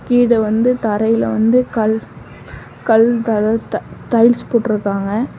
இது வந்து தரைல வந்து கள் கள் தர டைல்ஸ் போட்டுருக்காங்க.